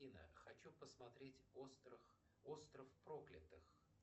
афина хочу посмотреть остров проклятых